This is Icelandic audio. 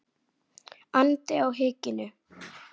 andi á hikinu.